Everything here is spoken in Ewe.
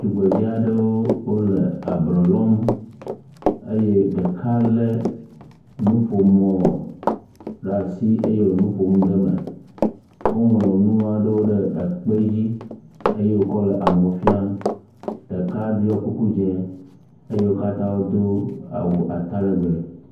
Tugbedze aɖewo wole ablɔ lɔm eye ɖeka lé nuƒomɔ eye wòle nu ƒom ɖe eme. Woŋlɔ nu aɖewo ɖe ekpe dzi eye wokɔ le amewo fiam, ɖeka ɖɔ kuku dze eye wo katã do awu atalegbe.